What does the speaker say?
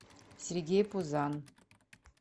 сергей пузан